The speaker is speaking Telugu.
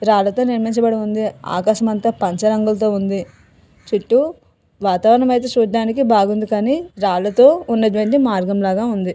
రాళ్లతో నిర్మిచబడి ఉంది ఆకాశం అంత పంచ రంగులతో ఉంది చుట్టూ వాతావరణం ఐతే చూడ్డానికి బాగుంది కానీ రాళ్లతో ఉన్నటువంటి మార్గంలాగ ఉంది.